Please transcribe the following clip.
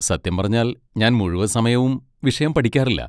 സത്യം പറഞ്ഞാൽ ഞാൻ മുഴുവൻ സമയവും വിഷയം പഠിക്കാറില്ല.